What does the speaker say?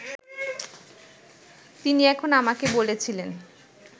তিনি তখন আমাকে বলেছিলেন